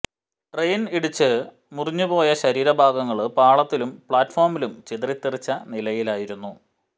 train ഇടിച്ചു മുറിഞ്ഞുപോയ ശരീര ഭാഗങ്ങള് പാളത്തിലും പ്ലാറ്റുഫോമിലും ചിതറി തെറിച്ച നിലയിലായിരുന്നു